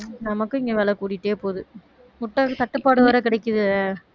நமக்கும் இங்க விலை கூடிட்டே போகுது முட்டை தட்டுப்பாடு வேற கிடைக்குதே